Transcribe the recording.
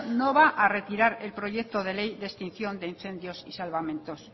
no va a retirar el proyecto de ley de extinción de incendios y salvamentos